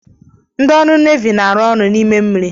Ndị ọrụ nevi na-arụ ọrụ n'ime mmiri.